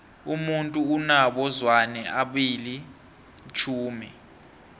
umuntu unabo zwane abili tjhumi